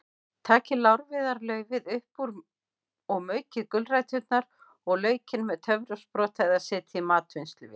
Takið lárviðarlaufið upp úr og maukið gulræturnar og laukinn með töfrasprota eða setjið í matvinnsluvél.